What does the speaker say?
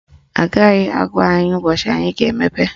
Agaghị agwa anyị ụbọchị anyị ga-emepe